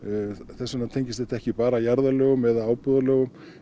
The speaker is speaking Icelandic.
þess vegna tengist þetta ekki bara að jarðalögum eða ábúðarlögum